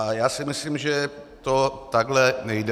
A já si myslím, že to takhle nejde.